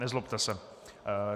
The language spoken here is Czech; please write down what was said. Nezlobte se.